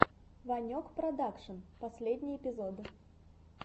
ванек продакшн последний эпизод